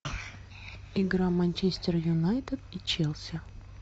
игра манчестер юнайтед и челси